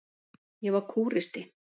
Ég var kúristi.